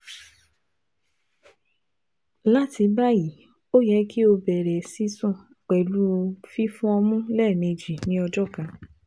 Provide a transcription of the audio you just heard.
Lati bayi o yẹ ki o bẹrẹ sisun pẹlu fifọ ọmu lẹmeji ni ọjọ kan